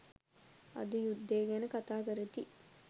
අද යුද්දය ගැන කතාකරති